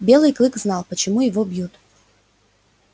белый клык знал почему его бьют